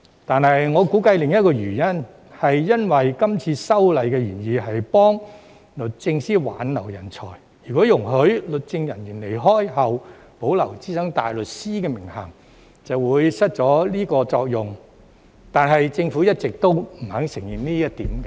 但是，我估計另一個原因在於今次修例的原意是幫助律政司挽留人才，如果容許律政人員離職後保留資深大律師的名銜，便會失去這個作用，但政府一直也不肯承認這一點。